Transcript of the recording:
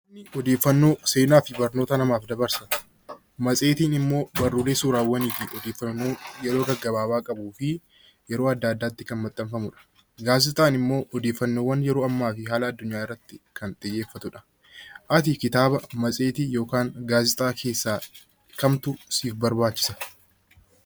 Odeeffannoon seenaa fi barnoota namaaf dabarsuudha. Matseetiin immoo barreeffamaalee suuraawwanii fi yeroo gaggabaabaa qabuu fi yeroo adda addaatti maxxanfamudha. Gaazexaawwan immoo odeeffannoo yeroo ammaa addunyaa irratti kan xiyyeeffatudha. Ati kitaaba, matseetii fi gaazexaa keessaa kam dubbifta?